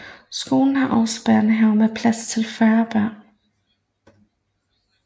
Skolen har også børnehave med plads til 40 børn